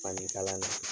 Fani kala